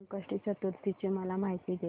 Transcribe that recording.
संकष्टी चतुर्थी ची मला माहिती दे